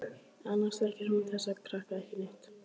Annars þekkir hún þessa krakka ekki neitt.